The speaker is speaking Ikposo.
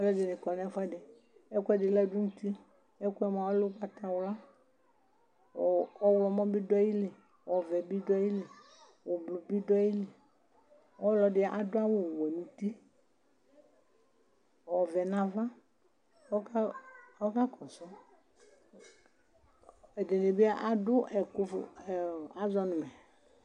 alʊɛdɩnɩ kɔ nʊ ɛfʊɛdɩ, ɛkʊɛdɩ ladʊ nʊ uti, ɛkʊ yɛ lɛ ugbatawla, kʊ ɔwlɔmɔ bɩ dʊ ayili, ɔvɛ bɩ ayili, avavlitsɛ bɩ dʊ ayili, ɔlɔdɩ dʊ awu wɛ nʊ uti, ɔvɛ nʊ ava, kʊ oɔka kɔsʊ,